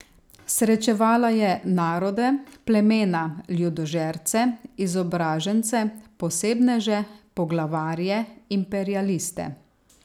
Srečevala je narode, plemena, ljudožerce, izobražence, posebneže, poglavarje, imperialiste.